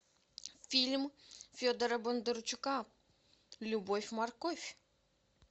фильм федора бондарчука любовь морковь